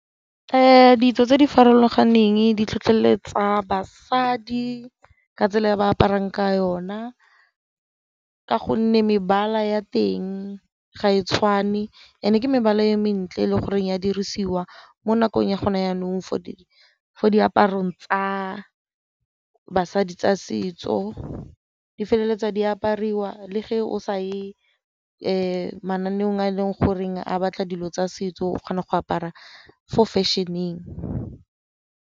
Ditso tse di farologaneng di tlhotlheletsa basadi ka tsela ya ba aparang ka yona, ka gonne mebala ya teng ga e tshwane and-e ke mebala e mentle le gore ya dirisiwa mo nakong ya go na jaanong fo diaparong tsa basadi tsa setso di feleletsa di apariwa le ge o sa ye mananeong a e leng goreng a batla dilo tsa setso o kgona go apara fo fashion-eng.